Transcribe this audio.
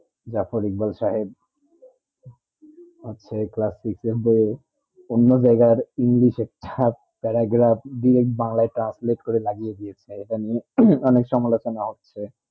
জাফ রিক্যাল সাহেব হচ্ছে class six এর দে উন্নবেগের english এর ছাত্র তারা paragraph বাংলা translate করে লাগিয়ে দিয়েছে এইটা নিয়ে অনেক সমতুলনা হচ্ছে